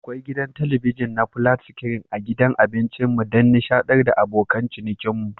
Akwai gidan talabijin na flat screen a gidan abincinmu don nishadantar da abokan cinikinmu.